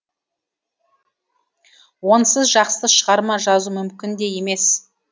онсыз жақсы шығарма жазу мүмкін де емес